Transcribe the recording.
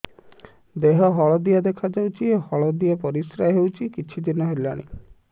ଦେହ ହଳଦିଆ ଦେଖାଯାଉଛି ହଳଦିଆ ପରିଶ୍ରା ହେଉଛି କିଛିଦିନ ହେଲାଣି